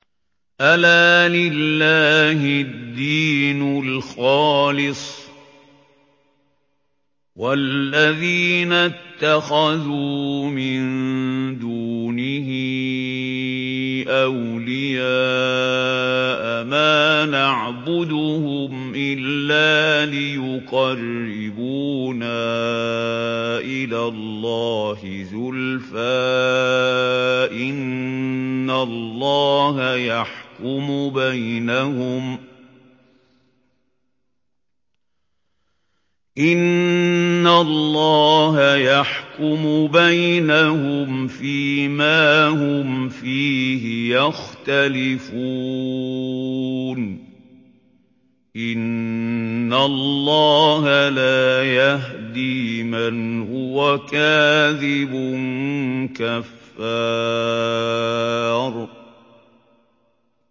أَلَا لِلَّهِ الدِّينُ الْخَالِصُ ۚ وَالَّذِينَ اتَّخَذُوا مِن دُونِهِ أَوْلِيَاءَ مَا نَعْبُدُهُمْ إِلَّا لِيُقَرِّبُونَا إِلَى اللَّهِ زُلْفَىٰ إِنَّ اللَّهَ يَحْكُمُ بَيْنَهُمْ فِي مَا هُمْ فِيهِ يَخْتَلِفُونَ ۗ إِنَّ اللَّهَ لَا يَهْدِي مَنْ هُوَ كَاذِبٌ كَفَّارٌ